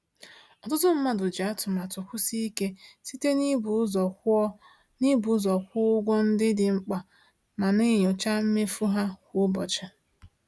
Ọtụtụ mmadụ ji atụmatụ kwụsie ike site n’ịbụ ụzọ kwụọ n’ịbụ ụzọ kwụọ ụgwọ ndị dị mkpa ma na-enyocha mmefu ha kwa ụbọchị.